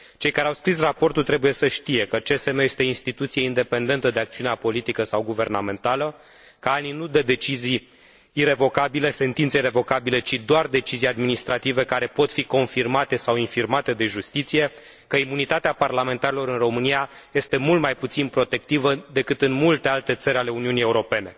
Cei care au scris raportul trebuie să știe că CSM este o instituție independentă de acțiunea politică sau guvernamentală, că ANI nu dă decizii irevocabile, sentințe irevocabile, ci doar decizii administrative care pot fi confirmate sau infirmate de justiție, că imunitatea parlamentarilor în România este mult mai puțin protectivă decât în multe alte țări ale Uniunii Europene.